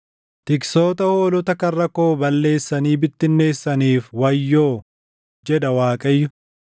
“Tiksoota hoolota karra koo balleessanii bittinneessiniif wayyoo!” jedha Waaqayyo.